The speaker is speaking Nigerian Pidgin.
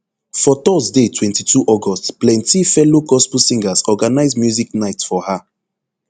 for thursday twenty-two august plenti fellow gospel singers organise music night for her